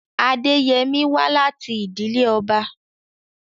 Adeyemi wá láti ìdílé ọba.